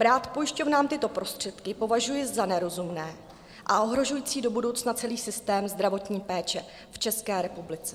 Brát pojišťovnám tyto prostředky považuji za nerozumné a ohrožující do budoucna celý systém zdravotní péče v České republice.